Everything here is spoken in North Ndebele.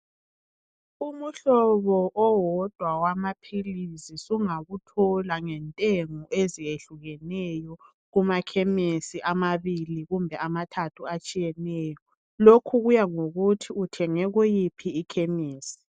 Umhlobo owodwa wamaphilizi sungawuthola ngentengo eziyehlukeneyo kumakhemisi amabili kumbe amathathu atshiyeneyo, lokhu kuyangokuthi uthenge kuyiphi ikhemesi.